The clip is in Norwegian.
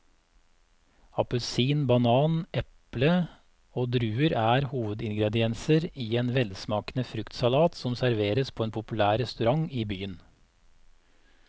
Appelsin, banan, eple og druer er hovedingredienser i en velsmakende fruktsalat som serveres på en populær restaurant i byen.